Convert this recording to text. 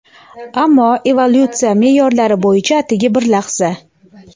ammo evolyutsiya me’yorlari bo‘yicha atigi bir lahza.